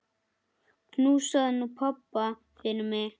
Knúsaðu nú pabba fyrir mig.